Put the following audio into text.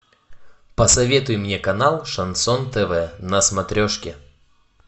посоветуй мне канал шансон тв на смотрешке